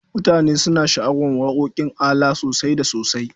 Mutane suna sha'awar waƙoƙin ALA sosai da sosai.